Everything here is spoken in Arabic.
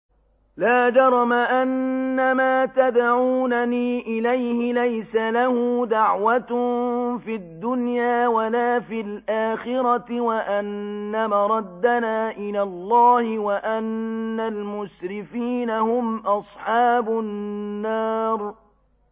لَا جَرَمَ أَنَّمَا تَدْعُونَنِي إِلَيْهِ لَيْسَ لَهُ دَعْوَةٌ فِي الدُّنْيَا وَلَا فِي الْآخِرَةِ وَأَنَّ مَرَدَّنَا إِلَى اللَّهِ وَأَنَّ الْمُسْرِفِينَ هُمْ أَصْحَابُ النَّارِ